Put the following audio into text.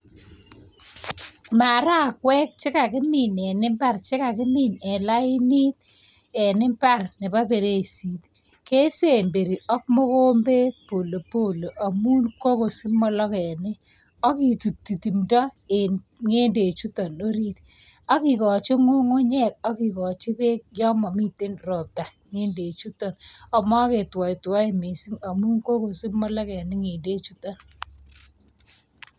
Marakwek che kakimin eng imbar, chekakimin eng lain, en i.bar nebo perisishek, kesemberi ak mogombet polepole amu kokosich mologenik. Ak kitutchi timto eng ny'edechutok ak kekochi ng'ung'unyek ak kikochi bek yon mamiten ropta ak ma ketuaituaei mising amu kokosich mologenik ny'endechutok.